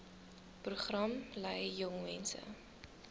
program lei jongmense